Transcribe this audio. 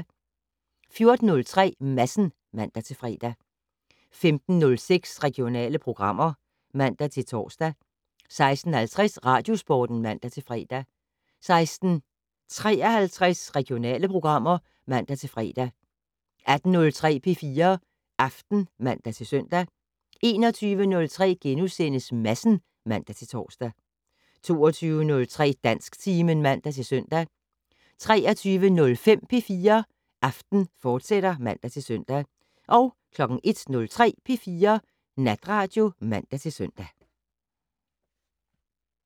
14:03: Madsen (man-fre) 15:06: Regionale programmer (man-tor) 16:50: Radiosporten (man-fre) 16:53: Regionale programmer (man-fre) 18:03: P4 Aften (man-søn) 21:03: Madsen *(man-tor) 22:03: Dansktimen (man-søn) 23:05: P4 Aften, fortsat (man-søn) 01:03: P4 Natradio (man-søn)